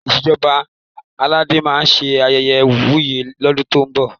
Ìṣèjọba Aládé máa ṣe ayẹyẹ ìwúyè lọ́dún tó ń bọ̀.